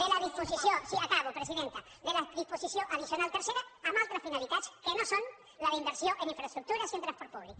de la disposició sí acabo presidenta addicional tercera amb altres finalitats que no són la d’inversió en infraestructures i en transport públic